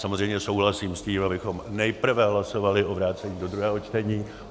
Samozřejmě souhlasím s tím, abychom nejprve hlasovali o vrácení do druhého čtení.